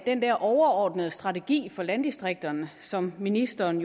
den der overordnede strategi for landdistrikterne som ministeren